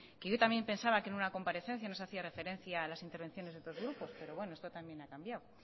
yo también pensaba que en una comparecencia nos hacía referencia a las intervenciones de otros grupos pero esto también ha cambiado